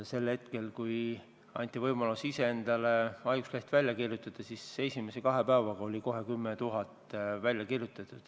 Sel hetkel, kui anti võimalus endale ise haigusleht välja kirjutada, oli kohe esimese kahe päevaga välja kirjutatud 10 000 lehte.